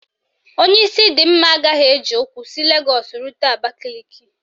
Onye isi dị mma agaghị eji ụkwụ si Legọọsụ rute Abakaliki